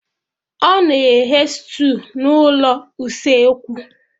Ọ na eghe stew na ụlọ usekwu